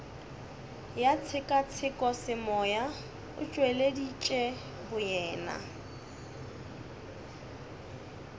ya tshekatshekosemoya o tšweleditše boyena